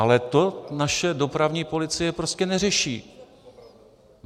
Ale to naše dopravní policie prostě neřeší.